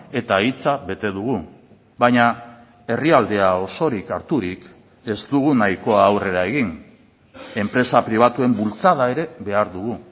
eta hitza bete dugu baina herrialdea osorik harturik ez dugu nahikoa aurrera egin enpresa pribatuen bultzada ere behar dugu